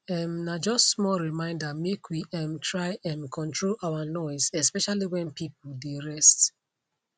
um na just small reminder make we um try um control our noise especially when people dey rest